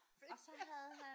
Fedt ja